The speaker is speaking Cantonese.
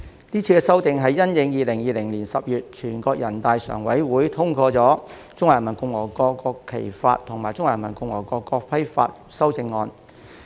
是次修訂是因應2020年10月全國人民代表大會常務委員會通過《中華人民共和國國旗法》及《中華人民共和國國徽法》修正草案而作出。